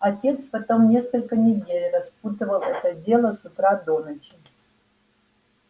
отец потом несколько недель распутывал это дело с утра до ночи